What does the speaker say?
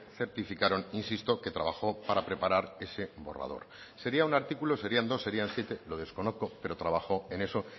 certificaron insisto que trabajó para preparar ese borrador sería un artículo serían dos serían siete lo desconozco pero trabajó en eso